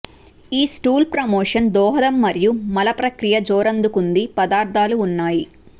ఈ stool promotion దోహదం మరియు మల ప్రక్రియ జోరందుకుంది పదార్థాలు ఉన్నాయి